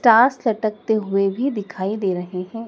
ताश लटकते हुए भी दिखाई दे रहे हैं।